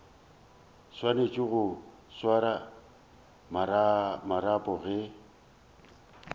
swanetše go swara marapo ge